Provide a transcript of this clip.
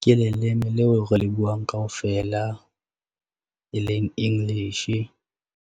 ke leleme leo re le buang kaofela, e leng English.